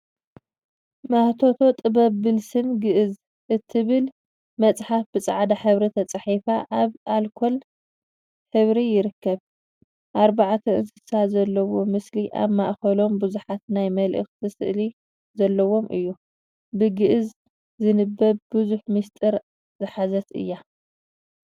ማህቶተ ጥበብ ብልስን ግእዝ እትብል መፅሓፍ ብፃዕዳ ሕብሪ ተፃሒፉ አብ አልኮል ሕብሪ ይርከብ፡፡ አርባዕቱ እንስሳ ዘለዉዎ ምስሊ አብ ማእከሎም ቡዙሓት ናይ መላእክቲ ስእሊ ዘለዎ እዩ፡፡ ብግእዝ ዝንበብ ብዙሕ ሚስጢር ዝሓዘት እያ፡፡